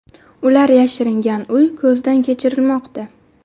Ular yashiringan uy ko‘zdan kechirilmoqda.